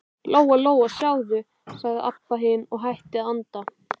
Lóa-Lóa, sjáðu, sagði Abba hin og hætti að anda.